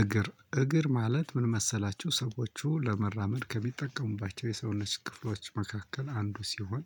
እግር እግር ማለት ምን መሰላችሁ ሰወቹ ለመራመድ ከሚጠቀሙባቸው የሰውነት ክፍሎች አንዱ ሲሆን